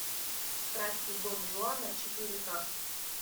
страсти дон жуана четыре ка